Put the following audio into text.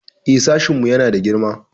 Eh, sashinmu yana da girma.